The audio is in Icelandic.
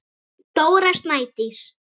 Dóra Snædís.